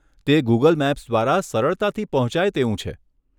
તે Google Maps દ્વારા સરળતાથી પહોંચાય તેવું છે.